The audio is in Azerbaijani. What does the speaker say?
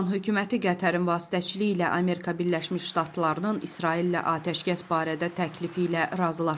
İran hökuməti Qətərin vasitəçiliyi ilə Amerika Birləşmiş Ştatlarının İsraillə atəşkəs barədə təklifi ilə razılaşıb.